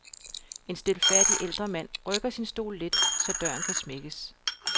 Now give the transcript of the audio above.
En stilfærdig ældre mand rykker sin stol lidt, så døren kan smækkes.